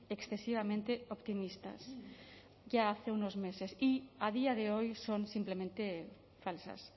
excesivamente optimistas ya hace unos meses y a día de hoy son simplemente falsas